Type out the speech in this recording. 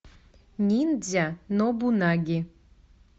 ниндзя нобунаги